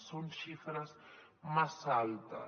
són xifres massa altes